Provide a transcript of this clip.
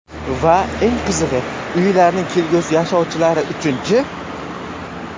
Va eng qizig‘i, uylarning kelgusi yashovchilari uchunchi?